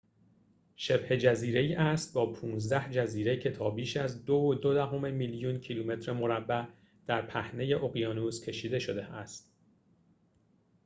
شبه‌جزیره‌ای است با ۱۵ جزیره که تا بیش از ۲.۲ میلیون کیلومتر مربع در پهنه اقیانوس کشیده شده است